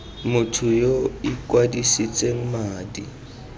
motho yo o ikwadisitseng madi